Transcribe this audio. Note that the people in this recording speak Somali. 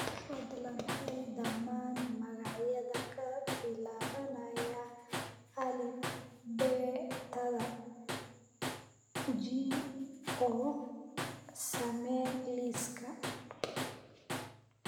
fadlan hel dhammaan magacyada ka bilaabanaya alifbeetada g oo samee liis